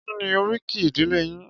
Kí ni oríkì ìdílé yín?